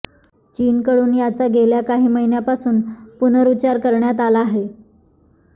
चीनकडून याचा गेल्या काही महिन्यांपासून पुनरुच्चार करण्यात आला आहे